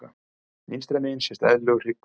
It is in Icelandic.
Vinstra megin sést eðlilegur hryggur.